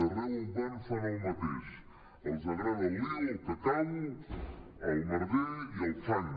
arreu on van fan el mateix els agrada el lío el cacau el merder i el fang